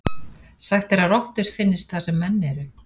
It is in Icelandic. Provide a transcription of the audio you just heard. Sagt er að rottur finnist þar sem menn eru.